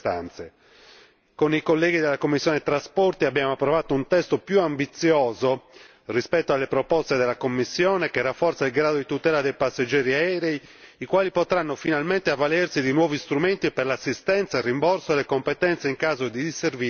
Con i colleghi della commissione trasporti abbiamo approvato un testo più ambizioso rispetto alle proposte della Commissione, che rafforza il grado di tutela dei passeggeri aerei, i quali potranno finalmente avvalersi di nuovi strumenti per l'assistenza, il rimborso, le competenze in caso di disservizi legati ai voli.